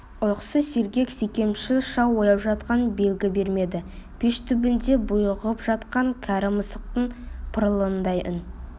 ұйқысы сергек секемшіл шал ояу жатқан белгі бермеді пеш түбінде бұйығып жатқан кәрі мысықтың пырылындай үн